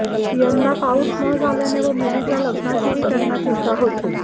यंदा पाऊस न झाल्याने व मुलीच्या लग्नाचीही त्यांना चिंता होती